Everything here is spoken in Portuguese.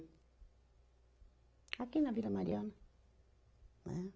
Aqui na Vila Mariana. Né